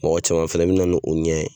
Mɔgɔ caman fana mɛ na ni o ɲɛ ye.